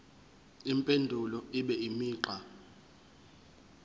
impendulo ibe imigqa